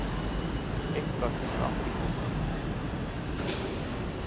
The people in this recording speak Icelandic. Eitthvað kemur afturfótunum út úr